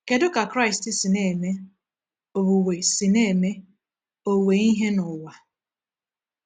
Kedu ka Kraịst si na-eme “owuwe si na-eme “owuwe ihe n’ụwa”?